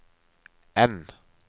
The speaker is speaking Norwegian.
N